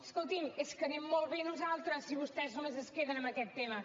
escolti’m és que anem molt bé nosaltres si vostès només es queden amb aquest tema